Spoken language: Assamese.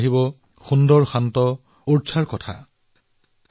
আৰু কিছুমান লোকে সুন্দৰ আৰু শান্ত অৰচাৰ বিষয়ে ভাবিব